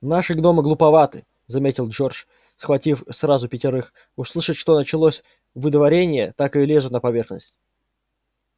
наши гномы глуповаты заметил джордж схватив сразу пятерых услышат что началось выдворение так и лезут на поверхность